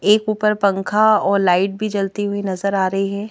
एक ऊपर पंखा और लाइट भी जलती हुई नजर आ रही है।